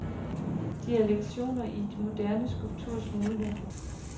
De er lektioner i den moderne skulpturs muligheder.